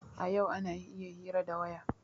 A yau ana iya hira ta waya.